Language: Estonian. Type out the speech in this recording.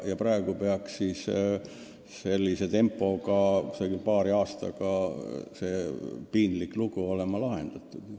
Praeguse tempo juures peaks see piinlik lugu paari aastaga lahenduse saama.